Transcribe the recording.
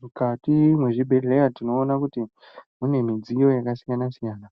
Mukati mezvibhedhlera tinoona kuti mune midziyo yakasiyana siyana